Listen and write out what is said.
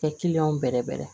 Kɛ bɛrɛ bɛrɛ